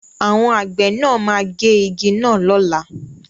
Àwọn àgbẹ̀ náà máa gé igi náà lọ́la.